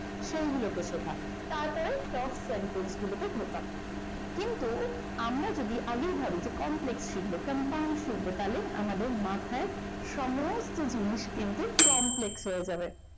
সেই গুলোকে শেখা তারপরে top sentence গুলোতে ঢোকা কিন্তু আমরা যদি আগেই ভাবি যে complex শিখব compound শিখব তাহলে আমাদের মাথায় সমস্ত জিনিস কিন্তু complex হয়ে যাবে।